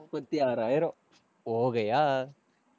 முப்பத்தி ஆறாயிரம் ogaiya